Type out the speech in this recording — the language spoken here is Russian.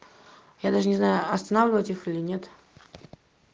я даже не знаю останавливать их или нет